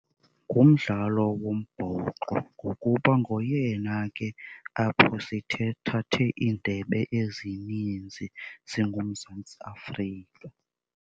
Ngumdlalo wombhoxo ngokuba ngoyena ke apho iindebe ezininzi singuMzantsi Afrika.